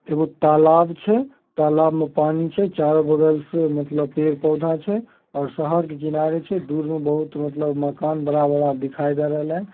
एगो तालाब छे तालाब में पानी छे चारो बगल से मतलब पेड़ पोधा छे ओर शहर के किनारे छे दूर में बहुत मलतब मकान बड़ा बड़ा दिखाई दे रहले हन।